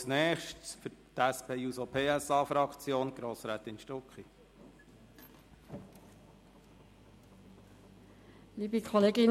Als Nächste Sprecherin hat für die SP-JUSO-PSA-Fraktion Grossrätin Stucki das Wort.